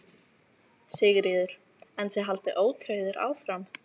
Sigríður: En þið haldið ótrauðir áfram?